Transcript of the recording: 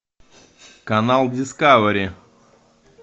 канал дискавери